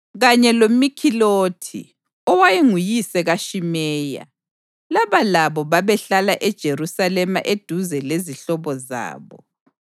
kanye loMikhilothi, owayenguyise kaShimeya. Laba labo babehlala eJerusalema eduze lezihlobo zabo.